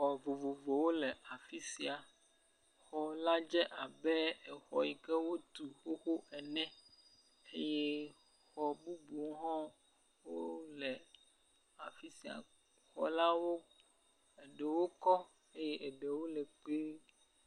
Xɔ vovovowo le afi sia. Xɔ la dze abe exɔ yi ke wotu xoxo ene eye xɔ bubuwo hã wole afi sia. Xɔlawo eɖewo kɔ eye eɖewo le kpuie.